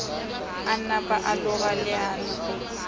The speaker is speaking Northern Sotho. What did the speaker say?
a napa a loga leano